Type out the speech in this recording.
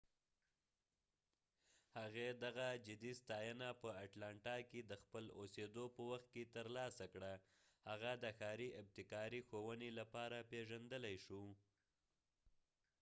هغې دغه جدي ستاینه په اټلانټا کې د خپل اوسیدو په وخت کې تر لاسه کړه هغه د ښاری ابتکاري ښوونی لپاره پیژندلی شي